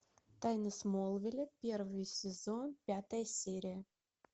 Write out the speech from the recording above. тайны смолвиля первый сезон пятая серия